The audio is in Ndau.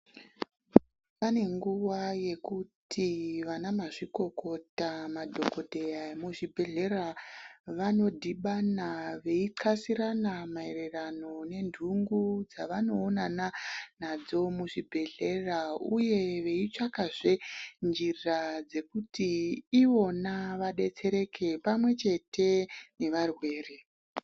Pane nguva yekuti vanamazvikokota madhogodheya emuzvibhedhlera vanodhibana veixasirana maererano nendungu dzavanoonana nadzo muzvibhedhlera uye veitsvakazve njira dzekuti ivona vadetsereka pamwechete nevarwere.